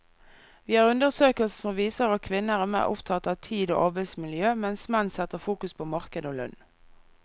Vi har undersøkelser som viser at kvinner er mer opptatt av tid og arbeidsmiljø, mens menn setter fokus på marked og lønn.